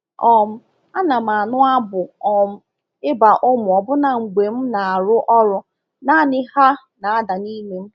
um Ana m anụ abụ um ịba ụmụ ọbụna mgbe m na-arụ ọrụ naanị—ha na-ada n’ime m.